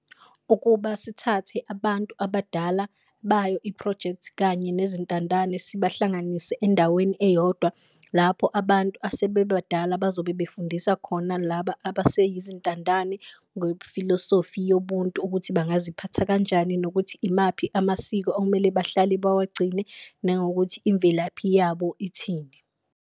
Ukuba sithathe abantu abadala bayo i-phrojekthi kanye nezintandane sibahlanganise endaweni eyodwa, lapho abantu asebebadala abazobe befundisa khona laba abaseyizintandane ngefilosofi yobuntu ukuthi bangaziphatha kanjani. Nokuthi imaphi amasiko okumele bahlale bawagcine nangokuthi imvelaphi yabo ithini.